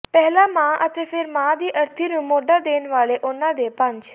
ਪਹਿਲਾ ਮਾਂ ਅਤੇ ਫਿਰ ਮਾਂ ਦੀ ਅਰਥੀ ਨੂੰ ਮੋਢਾ ਦੇਣ ਵਾਲੇ ਉਨ੍ਹਾਂ ਦੇ ਪੰਜ